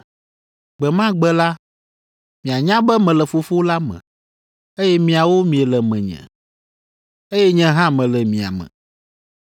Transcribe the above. Gbe ma gbe la, mianya be mele Fofo la me, eye miawo miele menye, eye nye hã mele mia me.